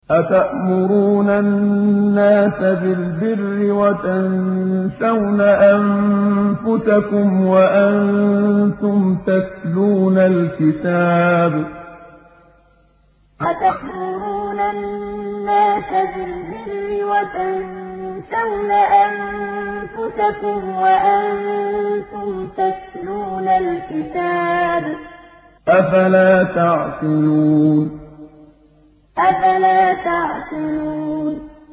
۞ أَتَأْمُرُونَ النَّاسَ بِالْبِرِّ وَتَنسَوْنَ أَنفُسَكُمْ وَأَنتُمْ تَتْلُونَ الْكِتَابَ ۚ أَفَلَا تَعْقِلُونَ ۞ أَتَأْمُرُونَ النَّاسَ بِالْبِرِّ وَتَنسَوْنَ أَنفُسَكُمْ وَأَنتُمْ تَتْلُونَ الْكِتَابَ ۚ أَفَلَا تَعْقِلُونَ